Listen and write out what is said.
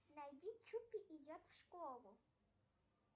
найди чупи идет в школу